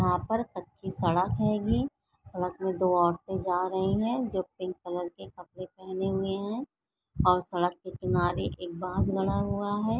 यहाँ पर कच्ची सड़क हैगी सड़क में दो औरते जा रही है जो पिंक कलर के कपड़े पहने हुए है और सड़क के किनारे एक बाज बना हुआ है।